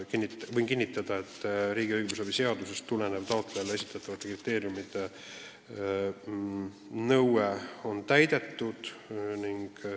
Võin kinnitada, et riigi õigusabi seadusest tulenev taotlejale esitatavate kriteeriumite nõue on täidetud.